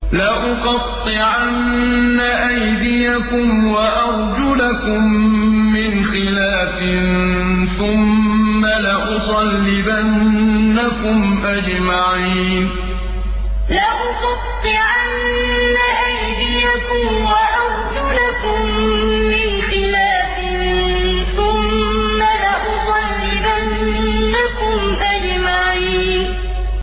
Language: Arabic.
لَأُقَطِّعَنَّ أَيْدِيَكُمْ وَأَرْجُلَكُم مِّنْ خِلَافٍ ثُمَّ لَأُصَلِّبَنَّكُمْ أَجْمَعِينَ لَأُقَطِّعَنَّ أَيْدِيَكُمْ وَأَرْجُلَكُم مِّنْ خِلَافٍ ثُمَّ لَأُصَلِّبَنَّكُمْ أَجْمَعِينَ